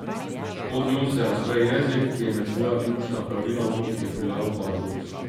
Pod njo se razpre jezik, ki je med svoja ključna pravila logike vpeljal paradoks.